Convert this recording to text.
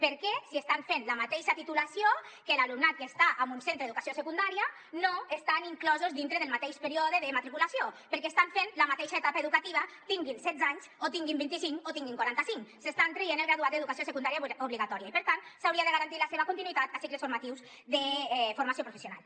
per què si estan fent la mateixa titulació que l’alumnat que està en un centre d’educació secundària no estan inclosos dintre del mateix període de matriculació perquè estan fent la mateixa etapa educativa tinguin setze anys o en tinguin vinti cinc o en tinguin quaranta cinc s’estan traient el graduat d’educació secundària obligatòria i per tant s’hauria de garantir la seva continuïtat a cicles formatius de formació professional